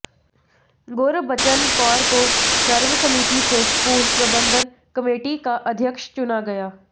गुरबचन कौर को सर्वसम्मति से स्कूल प्रबंधन कमेटी का अध्यक्ष चुना गया